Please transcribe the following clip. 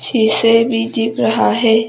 शीशे भी दिख रहा है।